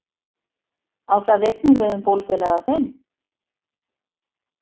Á það einnig við um bólfélaga þinn?